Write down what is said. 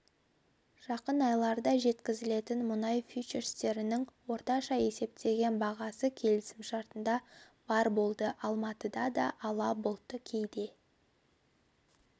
жақын айларда жеткізілетін мұнай фьючерстерінің орташа есептеген бағасы келісімшартына барр болды алматыда да ала бұлтты кейде